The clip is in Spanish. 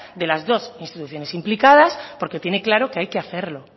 de las dos instituciones implicadas porque tiene claro que hay que hacerlo